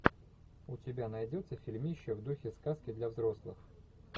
у тебя найдется фильмище в духе сказки для взрослых